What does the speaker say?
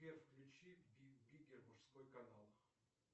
сбер включи би биггер мужской канал